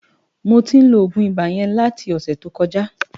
Mó tin ló ógún ibá yèn láti osè to kòjá